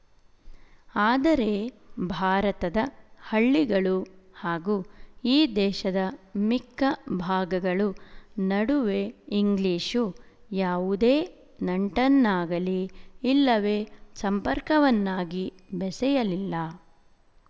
ಆದರೆ ಭಾರತದ ಹಳ್ಳಿಗಳು ಹಾಗೂ ಈ ದೇಶದ ಮಿಕ್ಕ ಭಾಗಗಳು ನಡುವೆ ಇಂಗ್ಲಿಶು ಯಾವುದೇ ನಂಟನ್ನಾಗಲಿ ಇಲ್ಲವೇ ಸಂಪರ್ಕವನ್ನಾಗಿ ಬೆಸೆಯಲಿಲ್ಲ